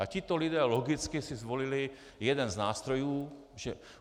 A tito lidé logicky si zvolili jeden z nástrojů.